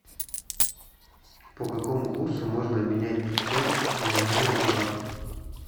по какому курсу можно обменять пятьсот гуарани в баты